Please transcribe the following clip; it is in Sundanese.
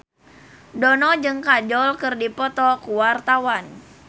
Dono jeung Kajol keur dipoto ku wartawan